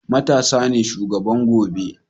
matasa ne shugaban gobe